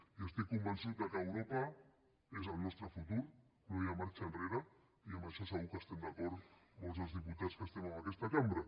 i estic convençut que europa és el nostre futur no hi ha marxa enrere i en això segur que estem d’acord molts dels diputats que estem en aquesta cambra